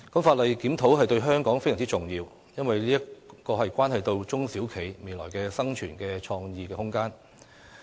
法例檢討對香港非常重要，因為這關係到中小企未來的生存和創意空間。